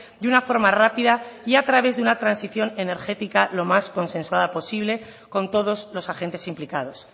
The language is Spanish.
de una forma rápida y a través de una transición energética lo más consensuada posible con todos los agentes implicados